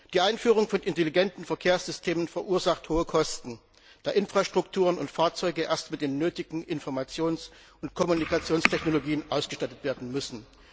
Die Einführung von intelligenten Verkehrssystemen verursacht hohe Kosten, da Infrastrukturen und Fahrzeuge erst mit den nötigen Informations und Kommunikationstechnologien ausgestattet werden müssen.